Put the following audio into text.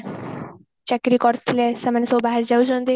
ଚାକିରି କରିଥିଲେ ସେଆନେ ସବୁ ବାହାରି ଯାଉଛନ୍ତି